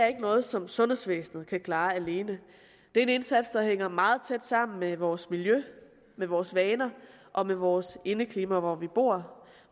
er noget som sundhedsvæsenet kan klare alene det er en indsats der hænger meget tæt sammen med vores miljø med vores vaner og med vores indeklima hvor vi bor